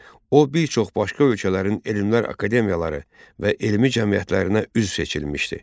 O bir çox başqa ölkələrin elmlər akademiyaları və elmi cəmiyyətlərinə üzv seçilmişdi.